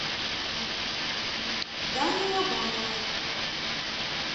дани лобанова